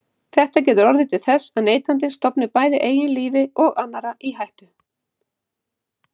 Þetta getur orðið til þess að neytandinn stofni bæði eigin lífi og annarra í hættu.